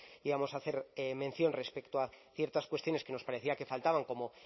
íbamos a hacer mención respecto a ciertas cuestiones que nos parecía que faltaban como